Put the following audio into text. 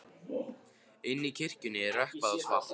Inni í kirkjunni er rökkvað og svalt.